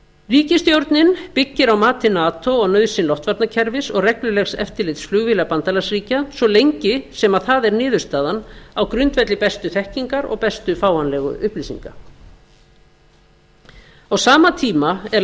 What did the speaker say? ríkisstjórnin byggir á mati nato og nauðsyn loftvarnakerfið og reglulegs eftirlits flugvéla bandalagsríkja svo lengi sem það er niðurstaðan á grundvelli bestu þekkingar og bestu fáanlegu upplýsinga á sama tíma er